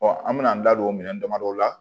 an mɛna an da don o minɛn damadɔw la